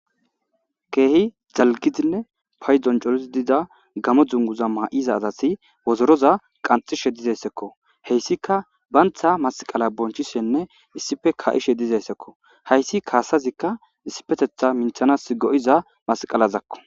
Kehi coridinne dalgidi gamo dunguza mayidi diza asi wodoroza qanxishe dizaysako hesika banta masqala bonchishene issipe ka'ishe dozaysako haysi kasazika issipetetha minthana doza masqalazako